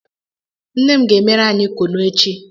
Nne m ga-emere anyị kunu echi